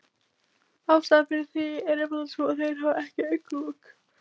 Ástæðan fyrir því er einfaldlega sú að þeir hafa ekki augnlok.